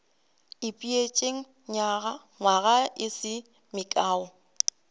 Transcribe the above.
ipeetše nywaga e se mekae